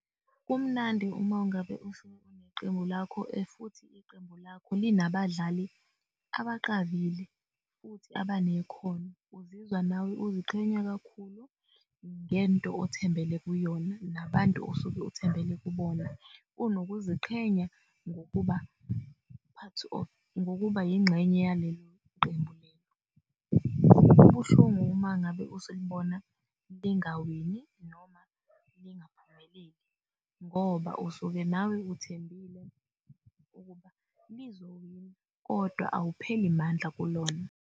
Kumnandi umangabe neqembu lakho futhi iqembu lakho linabadlali abaqavile futhi abanekhona, uzizwa nawe uziqhenya kakhulu ngento othembele kuyona nabantu osuke othembele kubona unokuziqhenya ngokuba yingxenye yaleli qembu. Kubuhlungu-ke uma ngabe usulibona lingawini noma lingaphumeleli, ngoba usuke nawe uthembisile ukuba lizowina, kodwa awupheli mandla kulona.